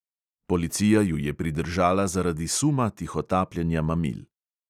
Policija ju je pridržala zaradi suma tihotapljenja mamil.